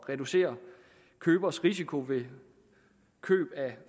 at reducere købers risiko ved køb af